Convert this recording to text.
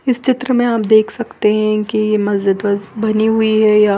इस चित्र में आप देख सकते है की मज़ीद बनी हुई है यहाँ--